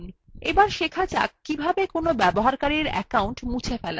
এখন শেখা যাক কিভাবে কোনো ব্যবহারকারীর অ্যাকাউন্ট মুছে ফেলা যায়